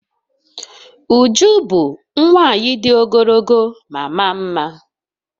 Uju bu nwanyi di ogologo ma maa mma